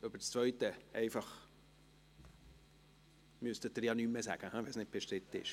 Zur zweiten müssten Sie nichts mehr sagen, wenn diese nicht bestritten ist.